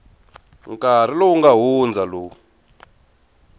nkarhi lowu nga hundza lowu